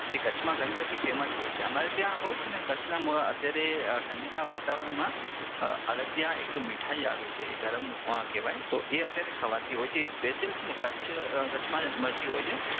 કચ્છમાં તે ઘણી બધી ફેમસ હોય છે અમારે ત્યાં કચ્છના ઠંડીના વાતાવરણમાં અડદિયા એક મીઠાઇ આવે છે એ ગરમ કેવાય તો એ અત્યારે ખવાતી હોય છે એ સ્પેશિયલ છે ને કચ્છમાં જ મળતી હોય છે